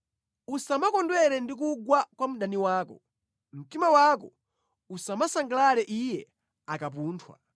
Usamakondwera ndi kugwa kwa mdani wako. Mtima wako usamasangalale iye akapunthwa.